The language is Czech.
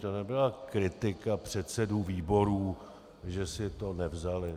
To nebyla kritika předsedů výborů, že si to nevzali.